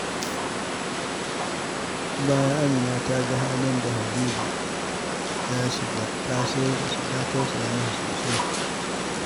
Bayan Amina ta ga halin da Habib ya shiga, ta tausaya masa sosai.